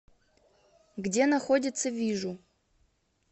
где находится вижу